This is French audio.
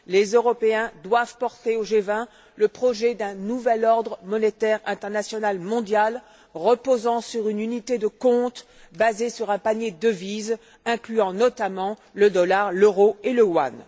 Les Européens doivent porter au G20 le projet d'un nouvel ordre monétaire international mondial reposant sur une unité de compte basée sur un panier de devises incluant notamment le dollar, l'euro et le yuan.